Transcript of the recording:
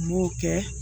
N b'o kɛ